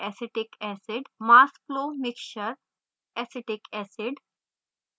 mass flow mixture/acetic acid